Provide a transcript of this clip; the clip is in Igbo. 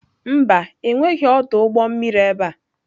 Mba, enweghị ọdụ ụgbọ mmiri ebe a.